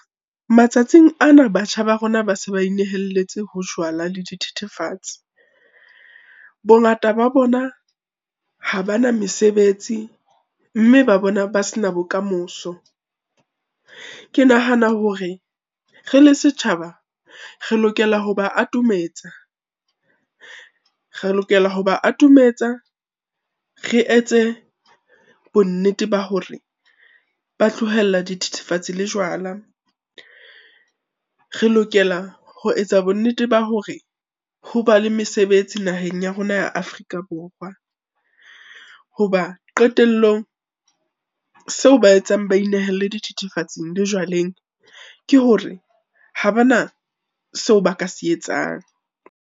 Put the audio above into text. Matsatsing ana batjha ba rona ba se ba inehelletse hojwala le dithethefatsi. Bongata ba bona ha bana mesebetsi, mme ba bona ba sena bokamoso. Ke nahana hore re le setjhaba re lokela ho ba atometsa, re lokela ho ba atometsa re etse bonnete ba hore ba tlohella dithethefatsi le jwala. Re lokela ho etsa bonnete ba hore ho ba le mesebetsi naheng ya rona ya Afrika Borwa. Hoba qetellong, seo ba etsang ba inehelle dithethefatsi le jwaleng ke hore ha ba na seo ba ka se etsang.